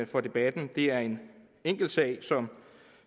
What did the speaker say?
for debatten er en enkeltsag som